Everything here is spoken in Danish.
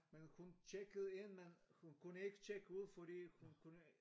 Men hun tjekkede ind men hun kunne ikke tjekke ud fordi hun kunne